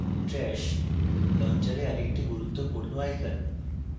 trash launcher আরেকটি গুরুত্বপূর্ণ icon